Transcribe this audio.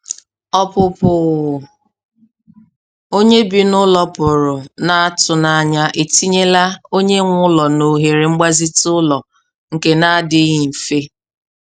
Ọpụpụ onye bi n'ụlọ pụrụ n'atụnanya etinyela onye nwe ụlọ n'ohere mgbazite ụlọ nke n'adịghị mfe.